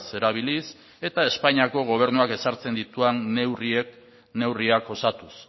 erabiliz eta espainiako gobernuak ezartzen dituen neurriak osatuz